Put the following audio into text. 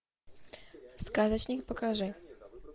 сказочник покажи